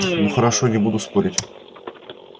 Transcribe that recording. ну хорошо не буду спорить